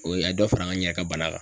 O a ye dɔ fara n yɛrɛ ka bana kan.